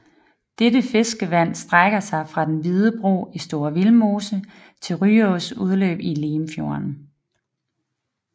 Dette fiskevand strækker sig fra Den Hvide Bro i Store Vildmose til Ryås udløb i Limfjorden